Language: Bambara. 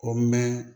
O mɛn